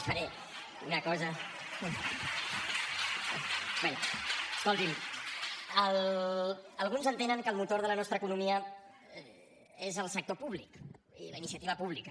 ) bé escoltin alguns entenen que el motor de la nostra economia són el sector públic i la iniciativa pública